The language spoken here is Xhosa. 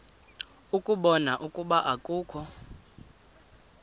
ukubona ukuba akukho